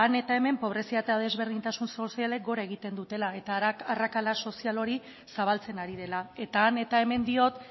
eta hemen pobrezia eta desberdintasun sozialek gora egiten dutela eta arrakala sozial hori zabaltzen ari dela eta han eta hemen diot